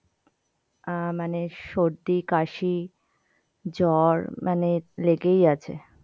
আহ মানে সর্দি কাশি জ্বর মানে লেগেই আছে